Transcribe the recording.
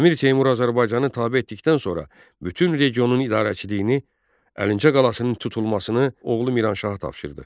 Əmir Teymur Azərbaycanı tabe etdikdən sonra bütün regionun idarəçiliyini, Əlincə qalasının tutulmasını oğlu Miranşaha tapşırdı.